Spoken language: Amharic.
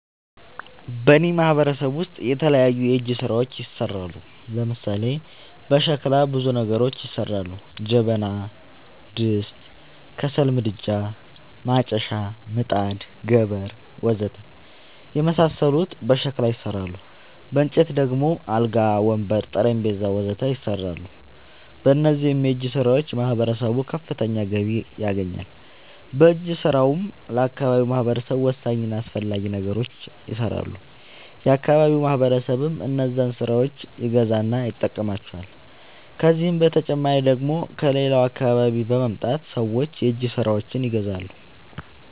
በእኔ ማህበረሰብ ውስጥ የተለያዩ የእጅ ስራዎች ይሠራሉ። ለምሳሌ፦ በሸክላ ብዙ ነገሮች ይሠራሉ። ጀበና፣ ድስት፣ ከሰል ምድጃ፣ ማጨሻ፣ ምጣድ፣ ገበር... ወዘተ የመሣሠሉት በሸክላ ይሠራሉ። በእንጨት ደግሞ አልጋ፣ ወንበር፣ ጠረንጴዛ..... ወዘተ ይሠራሉ። በእነዚህም የእጅስራዎች ማህበረሰቡ ከፍተኛ ገቢ ያገኛል። በእጅ ስራውም ለአካባቢው ማህበረሰብ ወሳኝ እና አስፈላጊ ነገሮች ይሠራሉ። የአካባቢው ማህበረሰብም እነዛን የእጅ ስራዎች ይገዛና ይጠቀምባቸዋል። ከዚህ በተጨማሪ ደግሞ ከሌላ አካባቢ በመምጣት ሠዎች የእጅ ስራዎቸችን ይገዛሉ።